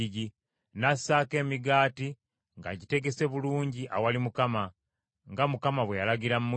n’assaako emigaati ng’agitegese bulungi awali Mukama , nga Mukama bwe yalagira Musa.